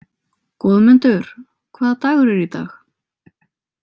Goðmundur, hvaða dagur er í dag?